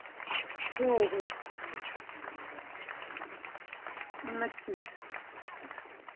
हो हो ,........नक्कीचं